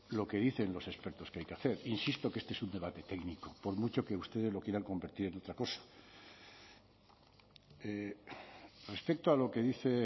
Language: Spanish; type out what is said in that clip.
lo que dicen los expertos que hay que hacer insisto que este es un debate técnico por mucho que ustedes lo quieran convertir en otra cosa respecto a lo que dice